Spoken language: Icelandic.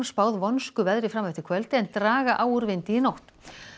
spáð vonskuveðri fram eftir kvöldi en draga á úr vindi í nótt